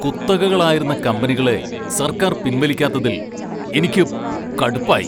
കുത്തകകളായിരുന്ന കമ്പനികളെ സർക്കാർ പിൻവലിക്കാത്തതിൽ എനിക്കു കടുപ്പായി.